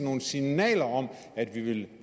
nogle signaler om at vi vil